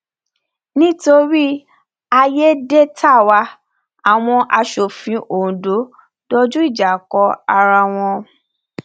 nítorí àyédètàwá àwọn asòfin ondo dojú ìjà kọra wọn